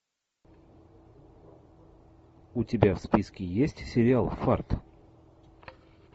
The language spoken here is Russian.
у тебя в списке есть сериал фарт